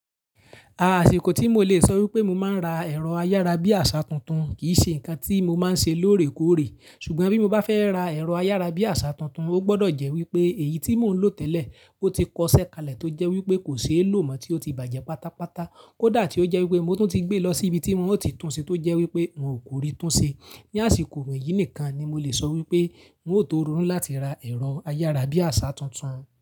Àsìkò tí mo le sọ wípé mo máa ń ra ẹ̀rọ ayárabíàṣá tuntun kì í ṣe ǹkan tí mo máa ń ṣe lóòrèkóòrè. Ṣùgbọ́n bí mo bá fẹ́ ra ẹ̀rọ ayárabíàṣá tuntun, ó gbọ́dọ̀ jẹ́ wípé èyí tí mò ń lò tẹ́lẹ̀, ó ti kọsẹ̀ kalẹ̀ tó jẹ́ wípé kò ṣeé lò mọ́ tí ó ti bàjẹ́ pátápátá, kódà tí ó jẹ́ wípé mo tún ti gbé lọ sí ibi tí wọn ó ti tún ṣe tó jẹ́ wípé wọn ò kórí tún ṣe. Ni àsìkò wọ̀nyí nìkan ni mo le sọ wípé n ó tó rọnù láti ra ẹ̀rọ ayárabíàṣá tuntun.